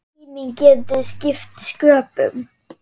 Tíminn getur skipt sköpum.